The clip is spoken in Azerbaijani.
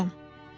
Madam.